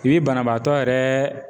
I bi banabaatɔ yɛrɛ